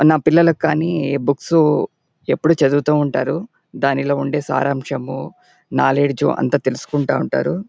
ఆ నా పిల్లలకి కానీ బుక్సు ఎప్పుడు చదువుతూ ఉంటారు. దానిలో ఉండే సారాంశము నాలెడ్జ్ అంతా తెలుసుకుంటా ఉంటారు.